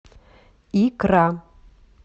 икра